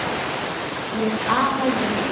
Með afa Jonna.